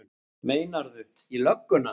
Meinarðu. í lögguna?